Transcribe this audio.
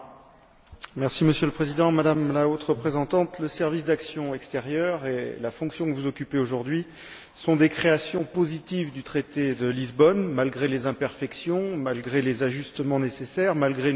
Monsieur le Président, Madame la Haute représentante, le Service européen pour l'action extérieure et la fonction que vous occupez aujourd'hui sont des créations positives du traité de Lisbonne, malgré les imperfections, malgré les ajustements nécessaires, malgré nos fréquentes critiques.